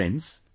Friends,